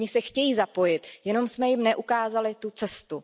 Oni se chtějí zapojit, jenom jsme jim neukázali tu cestu.